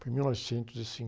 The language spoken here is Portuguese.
foi em mil novecentos e